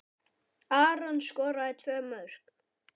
Aron skoraði tvö mörk.